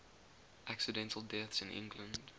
accidental deaths in england